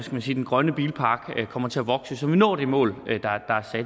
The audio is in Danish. man sige den grønne bilpark kommer til at vokse så vi når det mål